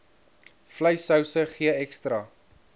vleissouse gee ekstra